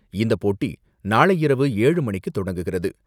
இந்த போட்டி நாளை இரவு ஏழு மணிக்கு தொடங்குகிறது.